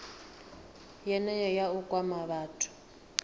yeneyo nga u kwama vhathu